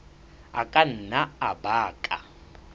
a ka nna a baka